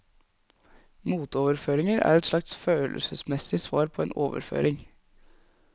Motoverføringer er et slags følelsesmessig svar på en overføring.